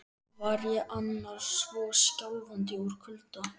Var ég annars svona skjálfandi úr kulda?